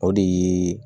O de ye